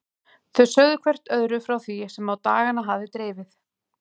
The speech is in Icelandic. Þau sögðu hvert öðru frá því sem á dagana hafði drifið.